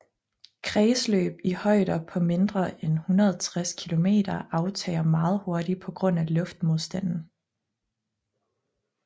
Kredsløb i højder på mindre end 160 km aftager meget hurtigt på grund af luftmodstanden